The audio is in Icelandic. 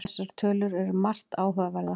Þessar tölur eru margt áhugaverðar